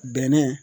Bɛnɛ